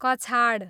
कछाड